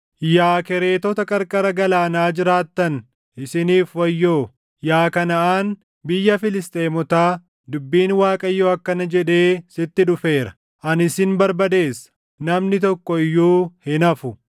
Yaa Kereetota qarqara galaanaa jiraattan, isiniif wayyoo; yaa Kanaʼaan, biyya Filisxeemotaa, dubbiin Waaqayyoo akkana jedhee sitti dhufeera; “Ani sin barbadeessa; namni tokko iyyuu hin hafu.”